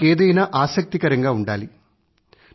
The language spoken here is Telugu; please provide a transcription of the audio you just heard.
వారికి ఏదైనా ఆసక్తికరంగా ఉండాలి